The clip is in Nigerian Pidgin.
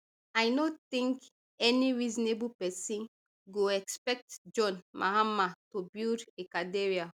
i no think any reasonable person go expect john mahama to build a cathedral